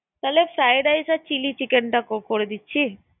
তাহলে fried rice chilli চিলি চিকেনটা ~করে দিচ্ছি